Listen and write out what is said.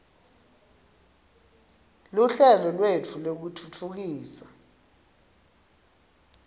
luhlelo lwetfu lwekutfutfukisa